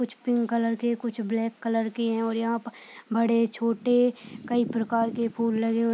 कुछ pink colour केकुछ black colour के हैं और यहाँ पर बड़े-छोटे कई प्रकार के फूल लगे हुए --